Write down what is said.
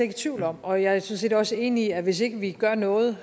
i tvivl om og jeg set også enig i at hvis ikke vi gør noget